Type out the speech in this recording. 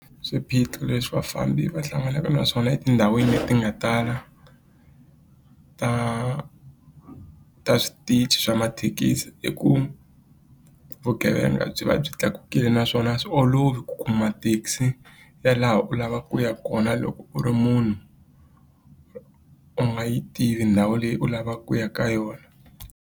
Swiphiqo leswi vafambi va hlanganaka na swona etindhawini leti nga tala ta ta switichi swa mathekisi i ku vugevenga byi va byi tlakukile naswona a swi olovi ku kuma thekisi ya laha u lavaka ku ya kona loko u ri munhu u nga yi tivi ndhawu leyi u lavaka ku ya ka yona.